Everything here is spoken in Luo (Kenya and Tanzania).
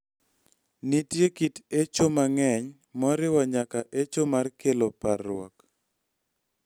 Nitie kit echo mang�eny, moriwo nyaka echo ma kelo parruok.